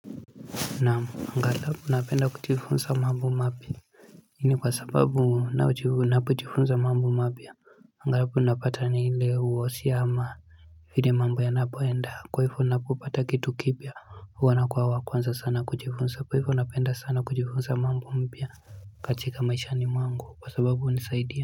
Naamu angalau napenda kuchifunsa mambo mapya lakini kwa sababu napojifunza mambo mapya angalau napata nile uosia ama vile mambo ya napoenda kwaifo napo pata kitu kipya huwa na kuwa wakwanza sana kuchifunsa kwaifu napenda sana kuchifunsa mambo mpya katika maisha ni mwangu kwa sababu nisaidia.